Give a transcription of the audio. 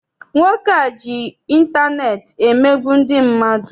Nwoke a ji intaneeti emegbu ndị mmadụ.